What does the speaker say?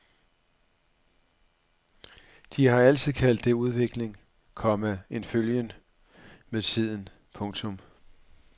De har altid kaldt det udvikling, komma en følgen med tiden. punktum